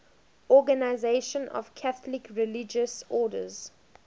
organisation of catholic religious orders